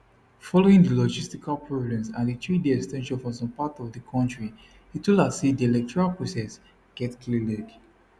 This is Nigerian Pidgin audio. following di logistical problems and di threeday ex ten sion for some parts of di kontri itula say di electoral process get kleg